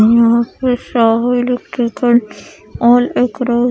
यहा पर --